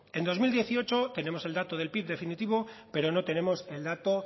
en dos mil dieciocho tenemos el dato del pib definitivo pero no tenemos el dato